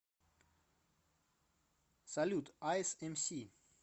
салют айс эмси